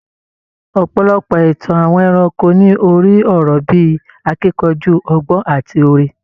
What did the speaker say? Ọ̀pọ̀lọpọ̀ ìtàn àwọn ẹranko ní orí-ọ̀rọ̀ bí i akíkanjú, ọgbọ́n àti oore.